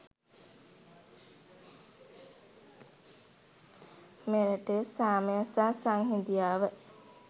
මෙරටේ සාමය සහ සංහිඳියාව